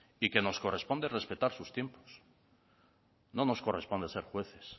y que nos corresponde respetar sus tiempos no nos corresponde ser jueces